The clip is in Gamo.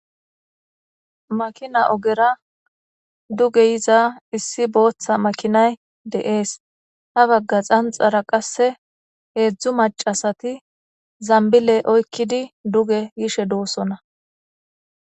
makina ogera duge yiza issi booththa makinay de7es ha bagga xanxara qasse heedzdzu macasati zambiley oykkidi duge yishe doosona